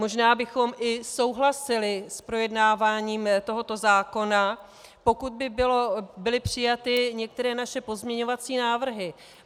Možná bychom i souhlasili s projednáváním tohoto zákona, pokud by byly přijaty některé naše pozměňovací návrhy.